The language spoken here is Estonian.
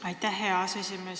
Aitäh, hea aseesimees!